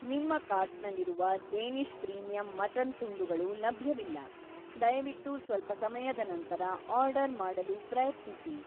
ನಿಮ್ಮ ಕಾರ್ಟ್‌ನಲ್ಲಿರುವ Danish premium mutton ತುಂಡುಗಳು ಲಭ್ಯವಿಲ್ಲ, ದಯವಿಟ್ಟು ಸ್ವಲ್ಪ ಸಮಯದ ನಂತರ ಆರ್ಡರ್‌ ಮಾಡಲು ಪ್ರಯತ್ನಿಸಿ.